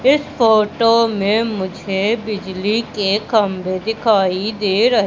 इस फोटो में मुझे बिजली के कमरे दिखाई दे रहे--